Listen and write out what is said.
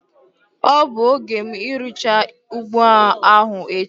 Ọ bụ oge m irucha ugbo ahu echi